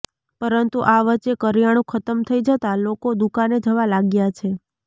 પરંતુ આ વચ્ચે કરિયાણું ખતમ થઈ જતાં લોકો દુકાને જવા લાગ્યા છે